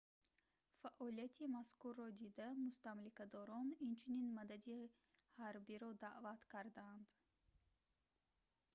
фаъолияти мазкурро дида мустамликадорон инчунин мадади ҳарбиро даъват карданд